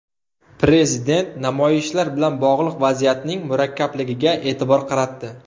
Prezident namoyishlar bilan bog‘liq vaziyatning murakkabligiga e’tibor qaratdi.